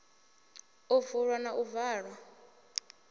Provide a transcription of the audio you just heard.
u vulwa na u valwa